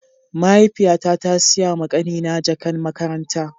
Mahaifiya ta, ta Siya ma kani na jakan makaranta.